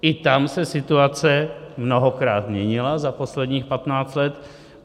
I tam se situace mnohokrát měnila za posledních 15 let.